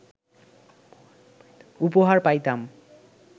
উপহার পাইতাম